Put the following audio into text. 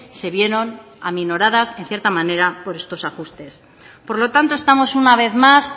se vieron aminoradas en cierta manera por estos ajustes por lo tanto estamos una vez más